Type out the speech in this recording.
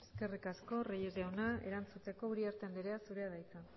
eskerrik asko reyes jauna erantzuteko uriarte andrea zurea da hitza